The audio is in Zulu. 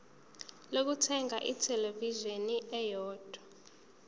lokuthenga ithelevishini eyodwa